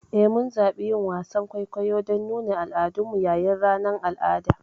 Eh, mun zaɓi yin wasan kwaikwayo don nuna al'adunmu yayin ranar al'ada.